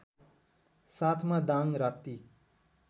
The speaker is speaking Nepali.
साथमा दाङ राप्ती